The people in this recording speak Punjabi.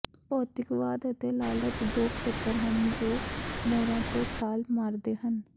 ਭੌਤਿਕਵਾਦ ਅਤੇ ਲਾਲਚ ਦੋ ਖੇਤਰ ਹਨ ਜੋ ਮੋਹਰਾਂ ਤੇ ਛਾਲ ਮਾਰਦੇ ਹਨ